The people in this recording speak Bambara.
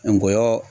Ngɔyɔ